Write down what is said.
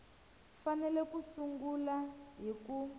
fanele ku sungula hi ku